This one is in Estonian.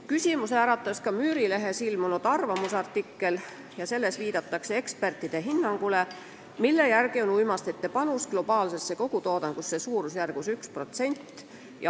Küsimusi äratas ka Müürilehes ilmunud arvamusartikkel, milles viidatakse ekspertide hinnangule, mille järgi on uimastite panus globaalsesse kogutoodangusse suurusjärgus 1%.